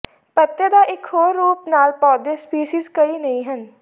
ਪੱਤੇ ਦਾ ਇੱਕ ਹੋਰ ਰੂਪ ਨਾਲ ਪੌਦੇ ਸਪੀਸੀਜ਼ ਕਈ ਨਹੀ ਹਨ